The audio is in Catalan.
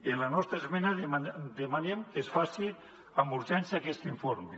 en la nostra esmena demanem que es faci amb urgència aquest informe